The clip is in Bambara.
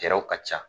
Cɛw ka ca